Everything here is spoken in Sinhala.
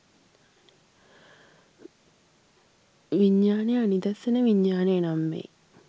විඤ්ඤාණය අනිදස්සන විඤ්ඤාණය නම් වෙයි.